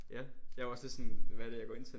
Ja. Jeg var også lidt sådan hvad er det jeg går ind til?